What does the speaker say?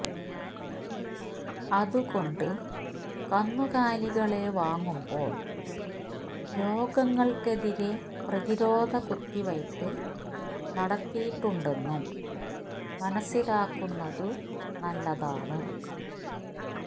അതുകൊണ്ട് കന്നുകാലികളെ വാങ്ങുമ്പോൾ രോഗങ്ങൾക്കെതിരെ പ്രതിരോധ കുത്തിവയ്പ് നടത്തിയിട്ടുണ്ടെന്നും മനസ്സിലാക്കുന്നതു നല്ലതാണ്